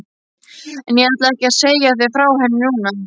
En ég ætla ekki að segja þér frá henni núna.